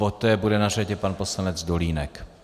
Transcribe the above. Poté bude na řadě pan poslanec Dolínek.